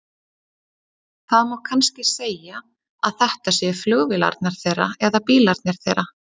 Það má kannski segja að þetta séu flugvélarnar þeirra eða bílarnir þeirra.